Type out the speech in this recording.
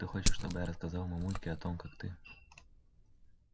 ты хочешь чтобы я рассказала мамульке о том как ты